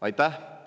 Aitäh!